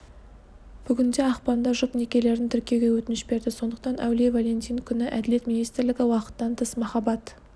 бүгінде ақпанда жұп некелерін тіркеуге өтініш берді сондықтан әулие валентин күні әділет министрлігі уақыттан тыс махаббат